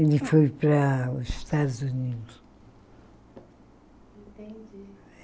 Ele foi para os Estados Unidos.